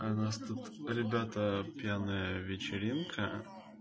у нас тут ребята пьяная вечеринка